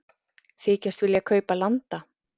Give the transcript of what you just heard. Þykjast vilja kaupa landa